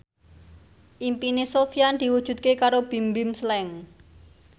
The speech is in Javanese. impine Sofyan diwujudke karo Bimbim Slank